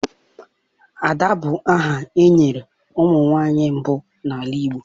Ada bụ aha e nyere ụmụ nwanyị mbụ n'ala Igbo.